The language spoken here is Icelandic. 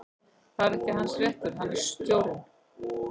Það er hans réttur, hann er stjórinn.